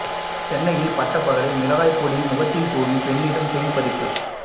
சென்னையில் பட்டபகலில் மிளகாய் பொடியை முகத்தில் தூவி பெண்ணிடம் செயின் பறிப்பு